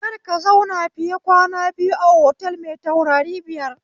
Kar ka zauna fiye kwana biyu a otal mai taurari biyar